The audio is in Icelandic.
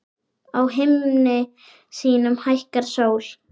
Á himni sínum hækkar sól.